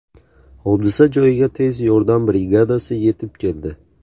Hodisa joyiga tez yordam brigadasi yetib keldi.